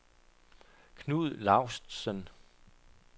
Knud Laustsen